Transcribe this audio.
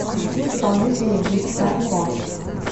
включи исполнителя биг тайм раш